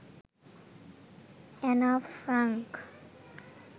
Anna Frank